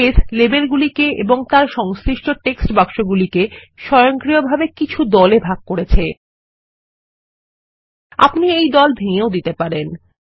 base লেবেলগুলিকে এবং সেগুলির সংশ্লিষ্ট টেক্সট বাক্সকে স্বয়ংক্রিয়ভাবে কিছু দলে ভাগ করেছে আপনি এই দল ভেঙ্গেও দিতে পারেন